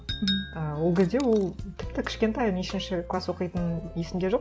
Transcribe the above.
ы ол кезде ол тіпті кішкентай нешінші класс оқитыны есімде жоқ